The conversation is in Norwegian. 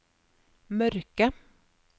mørke